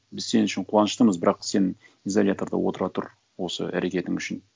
біз сен үшін қуаныштымыз бірақ сен изоляторда отыра тұр осы әрекетің үшін